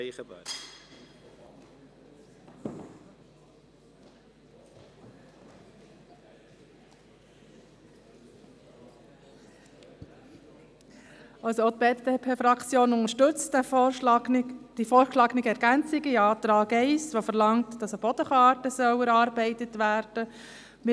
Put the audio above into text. Auch die BDP-Fraktion unterstützt die mit dem Antrag 1 vorgeschlagene Ergänzung, welche verlangt, dass eine Bodenkarte erarbeitet werden soll.